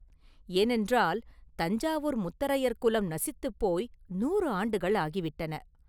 ஏனென்றால், தஞ்சாவூர் முத்தரையர் குலம் நசித்துப் போய் நூறு ஆண்டுகள் ஆகிவிட்டன.